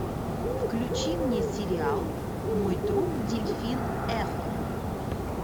включи мне сериал мой друг дельфин эхо